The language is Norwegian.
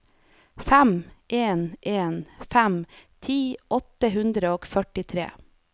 fem en en fem ti åtte hundre og førtitre